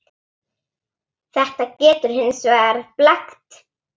Þetta getur hins vegar blekkt.